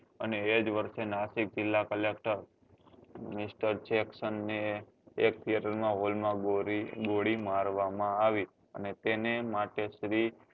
અને એ જ વર્ષે નાસિક જીલ્લા collector ને એક theater hall માં ગોળી ગોળી મારવા માં આવી અને તેને માટે શ્રી